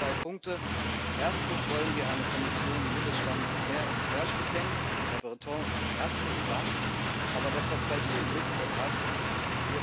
Zum Schluss zwei Punkte Erstens wollen wir eine Kommission, die Mittelstand mehr im Querschnitt denkt. Herr Breton, herzlichen Dank, aber dass das bei Ihnen ist, das reicht uns nicht.